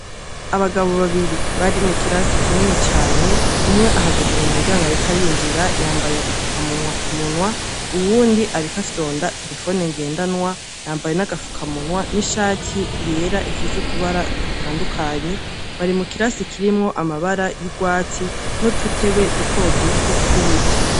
Abagabo babiri bari mu kirasi kinini cane, umwe ahagaze mu muryango ariko arinjira, yambaye agafukamunwa ku munwa, uwundi ariko afyonda terefone ngendanwa, yambaye n' agafukamunwa n' ishati yera ifise utubara dutandukanye, bari mu kirasi kirimwo amabara y' urwatsi, n' udutebe dutoduto, tw' ibiti.